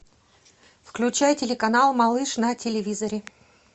включай телеканал малыш на телевизоре